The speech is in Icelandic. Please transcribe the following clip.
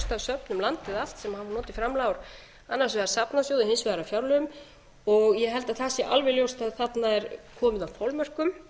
söfn um landið allt sem hafa notið framlaga úr annars vegar safnasjóði hins vegar af fjárlögum ég held að það sé alveg ljóst að þarna er komið að